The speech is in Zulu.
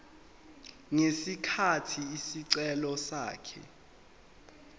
ngesikhathi isicelo sakhe